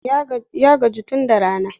Ya gaji tun da rana.